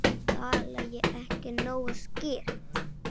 Tala ég ekki nógu skýrt?